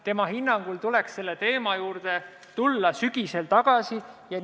Tema hinnangul tuleks selle teema juurde sügisel tagasi tulla.